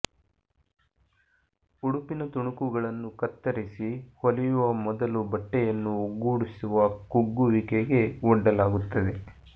ಉಡುಪಿನ ತುಣುಕುಗಳನ್ನು ಕತ್ತರಿಸಿ ಹೊಲಿಯುವ ಮೊದಲು ಬಟ್ಟೆಯನ್ನು ಒಗ್ಗೂಡಿಸುವ ಕುಗ್ಗುವಿಕೆಗೆ ಒಡ್ಡಲಾಗುತ್ತದೆ